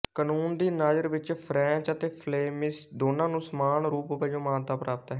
ਕਨੂੰਨ ਦੀ ਨਜ਼ਰ ਵਿਚ ਫਰੈਂਚ ਅਤੇ ਫਲੇਮਿਸ਼ ਦੋਨਾਂ ਨੂੰ ਸਮਾਨ ਰੂਪ ਵਜੋਂ ਮਾਨਤਾ ਪ੍ਰਾਪਤ ਹੈ